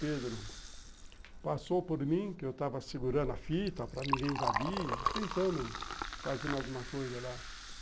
Pedro, passou por mim, que eu estava segurando a fita para ninguém invadir, tentando fazer alguma coisa lá.